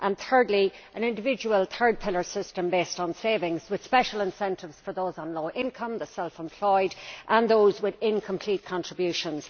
and thirdly, an individual third pillar system based on savings, with special incentives for those on lower incomes, the self employed and those with incomplete contributions.